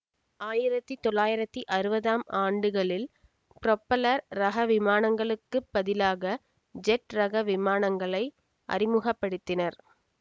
ஆயிரத்தி தொள்ளாயிரத்தி அறுவதாம் ஆண்டுகளில் புரொப்பல்லர் ரக விமானங்களுக்குப் பதிலாக ஜெட் ரக விமானங்களை அறிமுக படுத்தினர்